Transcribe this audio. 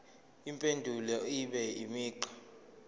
impendulo ibe imigqa